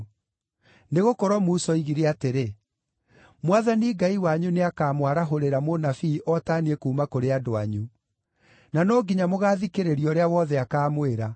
Nĩgũkorwo Musa oigire atĩrĩ, ‘Mwathani Ngai wanyu nĩakamwarahũrĩra mũnabii o ta niĩ kuuma kũrĩ andũ anyu. Na no nginya mũgaathikĩrĩria ũrĩa wothe akaamwĩra.